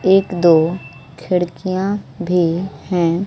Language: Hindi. एक दो खिड़कियां भी हैं।